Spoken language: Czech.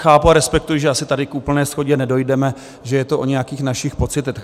Chápu a respektuji, že asi tady k úplné shodě nedojdeme, že je to o nějakých našich pocitech.